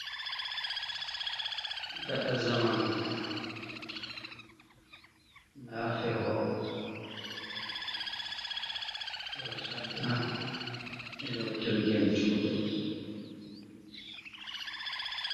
Gaɗa zamanu nda feho, feho chadda e'loutirgel juɗe.